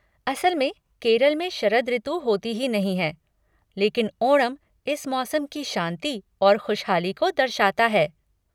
असल में, केरल में शरद ऋतु होती ही नहीं है, लेकिन ओणम इस मौसम की शांति और खुशहाली को दर्शाता है।